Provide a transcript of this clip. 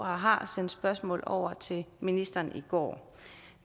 har sendt spørgsmålet over til ministeren i går